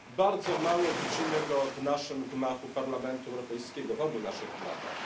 Bardzo mało widzimy go w naszym gmachu Parlamentu Europejskiego, w obu naszych gmachach.